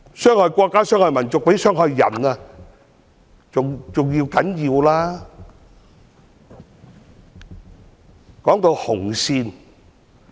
傷害國家、傷害民族，比傷害人更要不得。